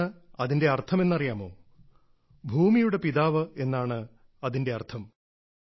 എന്താണ് അതിന്റെ അർത്ഥമെന്ന് അറിയാമോ ഭൂമിയുടെ പിതാവ് എന്നാണ് അതിന്റെ അർത്ഥം